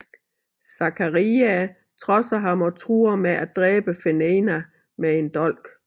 Zaccaria trodser ham og truer med at dræbe Fenena med en dolk